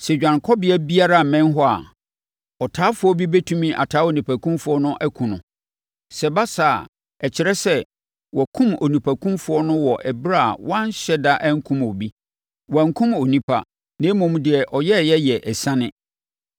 Sɛ dwanekɔbea biara mmɛn hɔ a, ɔtaafoɔ bi bɛtumi ataa onipakumfoɔ no akum no. Sɛ ɛba saa a, ɛkyerɛ sɛ, wɔakum onipakumfoɔ no wɔ ɛberɛ a wanhyɛ da akum obi. Wankum onipa, na mmom deɛ ɔyɛeɛ yɛ asiane.